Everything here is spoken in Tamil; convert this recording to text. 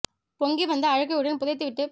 பொங்கிவந்த அழுகையுடன் புதைத்து விட்டுப்